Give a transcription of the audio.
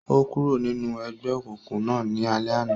O kúrò ninú egbeokunkun náà ní alẹ àna